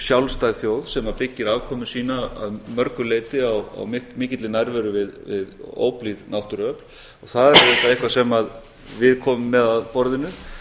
sjálfstæð þjóð sem byggir afkomu sína að mörgu leyti á mikilli nærveru við óblíð náttúruöfl og það er auðvitað eitthvað sem við komum með að borðinu